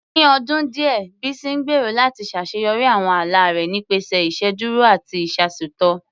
Ní ọdún díẹ̀, Bísí ń gbèrò láti ṣàṣeyọrí àwọn ala rẹ̀ nípasẹ̀ ìṣèdúró àti ìyàsọ́tọ̀